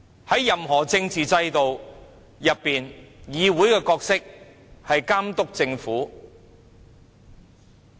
在任何政治制度中，議會的角色是監督政府。